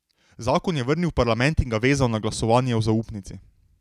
Zakon je vrnil v parlament in ga vezal na glasovanje o zaupnici.